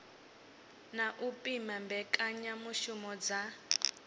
na u pima mbekanyamishumo dza